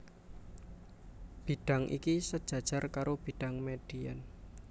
Bidhang iki sejajar karo bidhang median